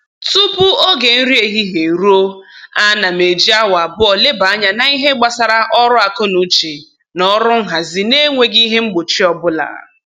Tupu oge nri ehihie eruo, ana m eji awa abụọ leba anya n'ihe gbasara ọrụ akọnuche na ọrụ nhazi na-enweghị ihe mgbochi ọbụla